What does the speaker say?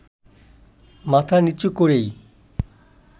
মাথা নিচু করেই